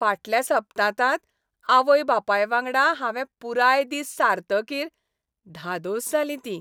फाटल्या सप्तांतांत आवय बापाय वांगडा हावें पुराय दीस सारतकीर धादोस जालीं तीं.